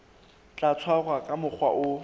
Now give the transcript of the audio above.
tla tshwarwa ka mokgwa o